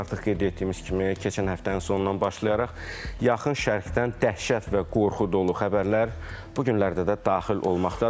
Artıq qeyd etdiyimiz kimi, keçən həftənin sonundan başlayaraq, yaxın şərqdən dəhşət və qorxu dolu xəbərlər bu günlərdə də daxil olmaqdadır.